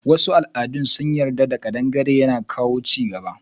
Wasu al'adun sun yarda kadangare yana kawo chigaba.